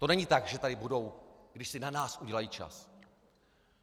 To není tak, že tady budou, když si na nás udělají čas.